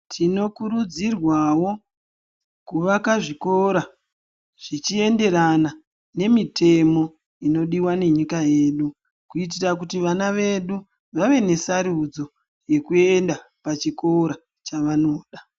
Tinokurudzirwawo kuvaka zvikora, zvichienderana nemitemo inodiwa nenyika yedu ,kuyitira kuti vana vedu vave nesarudzo yekuenda pachikora chavanoda.